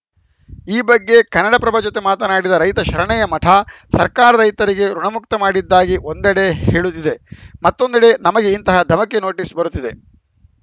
ಈ ಬಗ್ಗೆ ಕನ್ನಡಪ್ರಭ ಜೊತೆ ಮಾತನಾಡಿದ ರೈತ ಶರಣಯ್ಯ ಮಠ ಸರ್ಕಾರ ರೈತರಿಗೆ ಋುಣಮುಕ್ತ ಮಾಡಿದ್ದಾಗಿ ಒಂದಂಡೆ ಹೇಳುತ್ತಿದೆ ಮತ್ತೊಂದೆಡೆ ನಮಗೆ ಇಂತಹ ಧಮಕಿ ನೋಟಿಸ್‌ ಬರುತ್ತಿವೆ